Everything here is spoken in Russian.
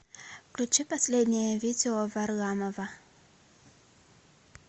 включи последнее видео варламова